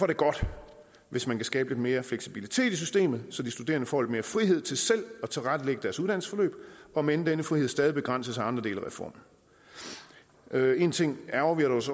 det godt hvis man kan skabe lidt mere fleksibilitet i systemet så de studerende får lidt mere frihed til selv at tilrettelægge deres uddannelsesforløb om end denne frihed stadig begrænses af andre dele af reformen én ting ærgrer vi os